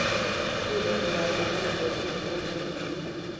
Mi kertikab serikali mosonok chebunu tulwet.